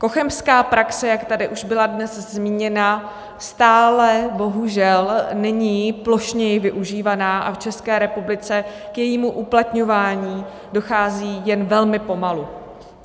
Cochemská praxe, jak tady už byla dnes zmíněna, stále bohužel není plošněji využívaná a v České republice k jejímu uplatňování dochází jen velmi pomalu.